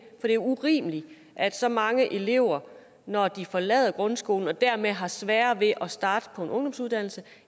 er urimeligt at så mange elever når de forlader grundskolen og dermed har sværere ved at starte på en ungdomsuddannelse